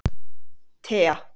Tea